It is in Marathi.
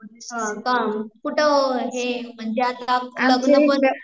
हा का, कुठं हे म्हणजे आता लग्न कोण